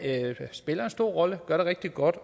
spiller en stor rolle og gør det rigtig godt